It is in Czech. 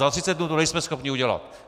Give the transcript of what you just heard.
Za 30 dnů to nejsme schopni udělat.